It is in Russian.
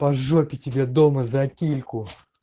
по жопе тебе дома за кильку